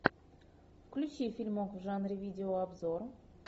включи фильмок в жанре видео обзора